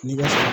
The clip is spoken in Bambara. N'i bɛ